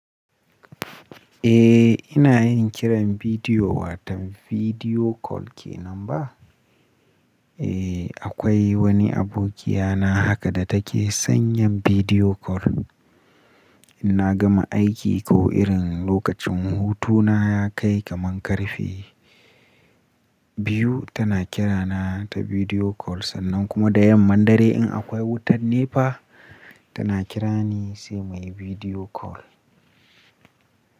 Eh ina yin kiran bidiyo, watan bidiyo call ke nan ba? Eh akwai wani abokiya na haka da take sanyan bidiyo call. In na gama aiki ko irin lokacin hutu na ya kai kaman karfe biyu tana kira na ta bidiyo call, sannan kuma da yamman dare in akwai wutar nefa tana kira ni sai muyi bidiyo call.